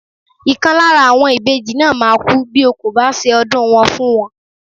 Ìkan lára àwọn ìbejì náà máa kú bí o kò bá ṣe ọdún wọn fún wọn.